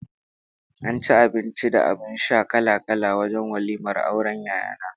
An ci abinci da abin sha kala-kala wajen walimar auren Yaya na